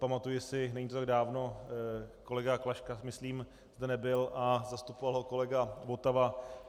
Pamatuji si, není to tak dávno, kolega Klaška myslím zde nebyl a zastupoval ho kolega Votava.